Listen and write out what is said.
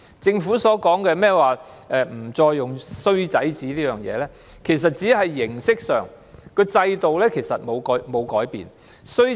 政府取消"衰仔紙"，但其實只是形式改變，制度沒有改變。